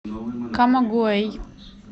камагуэй